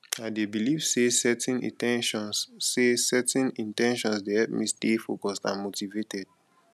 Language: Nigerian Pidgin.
i dey believe say setting in ten tions say setting in ten tions dey help me stay focused and motivated